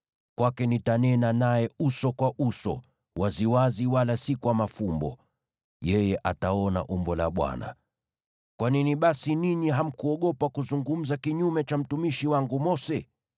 Kwake nitanena naye uso kwa uso, waziwazi wala si kwa mafumbo; yeye ataona umbo la Bwana . Kwa nini basi ninyi hamkuogopa kuzungumza kinyume cha mtumishi wangu Mose?”